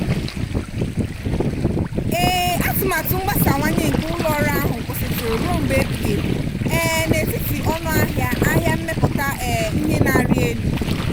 um atụmatụ mgbasawanye nke ụlọ ọrụ ahụ kwụsịtụrụ ruo mgbe ebighi ebi um n'etiti ọnụ ahịa ahịa mmepụta um ihe na-arị elu.